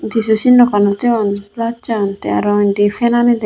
jissu sinnogano degong plus an tey aro indi fanani degong.